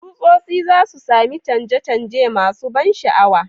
Tsutsotsi za su sami canje-canje masu ban sha'awa,